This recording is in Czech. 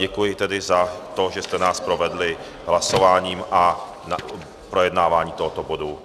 Děkuji tedy za to, že jste nás provedli hlasováním a projednáváním tohoto bodu.